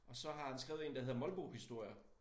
Og så har han skrevet én der hedder Molbohistorier